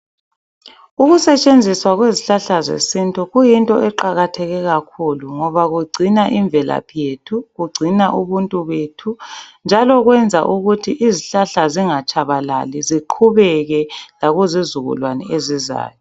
Ukusetshenziswa kwezihlahla zesintu kuyinto kuqakatheke kakhulu, ngoba kugcina imvelaphi yethu. Kugcina ubuntu bethu, njalo kwenza ukuthi izihlahla zingatshabalali. Ziqhubeke lakuzizukulwana ezizayo.